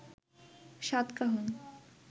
সাতকাহন